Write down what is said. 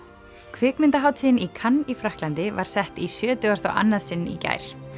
kvikmyndahátíðin í í Frakklandi var sett í sjötugasta og annað sinn í gær